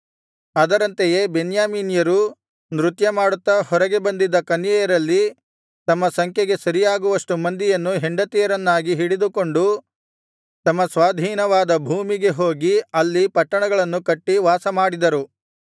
ಅದರಂತೆಯೇ ಬೆನ್ಯಾಮೀನ್ಯರು ನೃತ್ಯಮಾಡುತ್ತ ಹೊರಗೆ ಬಂದಿದ್ದ ಕನ್ಯೆಯರಲ್ಲಿ ತಮ್ಮ ಸಂಖ್ಯೆಗೆ ಸರಿಯಾಗುವಷ್ಟು ಮಂದಿಯನ್ನು ಹೆಂಡತಿಯರನ್ನಾಗಿ ಹಿಡಿದುಕೊಂಡು ತಮ್ಮ ಸ್ವಾಧೀನವಾದ ಭೂಮಿಗೆ ಹೋಗಿ ಅಲ್ಲಿ ಪಟ್ಟಣಗಳನ್ನು ಕಟ್ಟಿ ವಾಸಮಾಡಿದರು